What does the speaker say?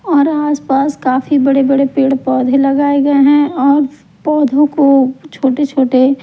और आसपास काफी बड़े-बड़े पेड़ पौधे लगाए गए हैं और पौधों को छोटे-छोटे--